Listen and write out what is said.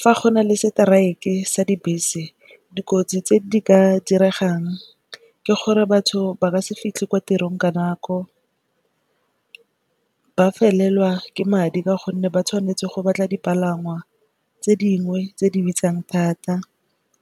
Fa go na le strike-e sa dibese, dikotsi tse di ka diregang ke gore batho ba ka se fitlhe ko tirong ka nako. Ba felelwa ke madi ka gonne ba tshwanetse go batla dipalangwa tse dingwe tse di bitsang thata.